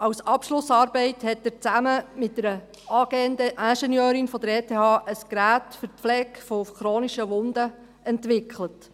Als Abschlussarbeit hat er zusammen mit einer angehenden Ingenieurin der Eidgenössisch Technischen Hochschule (ETH) ein Gerät für die Pflege von chronischen Wunden entwickelt.